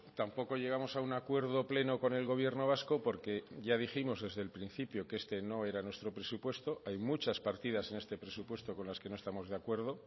tampoco llegamos a un acuerdo pleno con el gobierno vasco porque ya dijimos desde el principio que este no era nuestro presupuesto hay muchas partidas en este presupuesto con las que no estamos de acuerdo